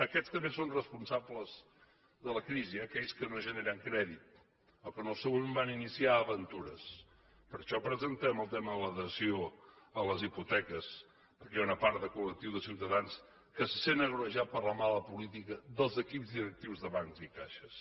aquests també són responsables de la crisi aquells que no generen crèdit els que en el seu moment van iniciar aventures per això presentem el tema de la dació de les hipoteques perquè hi ha una part de col·lectiu de ciutadans que se senten agreujats per la mala política dels equips directius de bancs i caixes